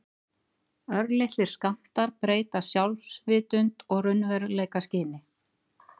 Örlitlir skammtar breyta sjálfsvitund og raunveruleikaskyni.